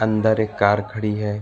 अंदर एक कार खड़ी है।